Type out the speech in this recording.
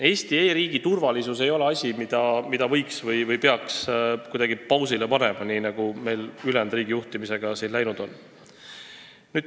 Eesti e-riigi turvalisus ei ole asi, mida võiks kuidagi pausile panna või peaks panema, nii nagu meil ülejäänud riigijuhtimisega läinud on.